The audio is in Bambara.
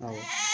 Awɔ